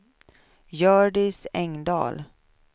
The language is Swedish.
Hjördis Engdahl